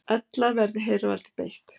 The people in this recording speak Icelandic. Ella verði hervaldi beitt.